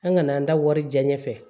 An kana an da wari diɲɛ ɲɛfɛ